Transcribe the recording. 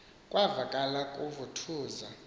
kwavakala kuvu thuza